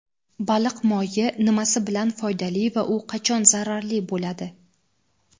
Baliq moyi nimasi bilan foydali va u qachon zararli bo‘ladi?.